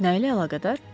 Nə ilə əlaqədar?